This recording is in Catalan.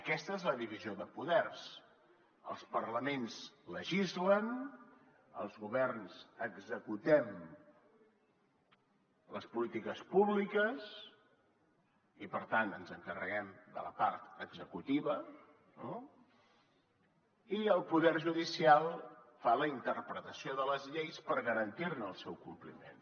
aquesta és la divisió de poders els parlaments legislen els governs executem les polítiques públiques i per tant ens encarreguem de la part executiva no i el poder judicial fa la interpretació de les lleis per garantir ne el seu compliment